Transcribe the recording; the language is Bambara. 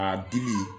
A dili